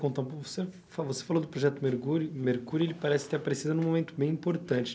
Contar um pouco, você fa você falou do Projeto mergure, mercury e ele parece ter aparecido num momento bem importante.